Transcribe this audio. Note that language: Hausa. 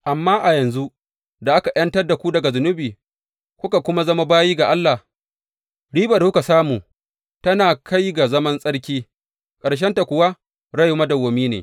Amma a yanzu da aka ’yantar da ku daga zunubi kuka kuma zama bayi ga Allah, ribar da kuka samu tana kai ga zaman tsarki, ƙarshenta kuwa rai madawwami ne.